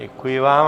Děkuji vám.